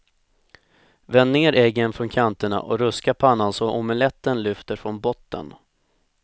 Vänd ner äggen från kanterna och ruska pannan så omeletten lyfter från botten.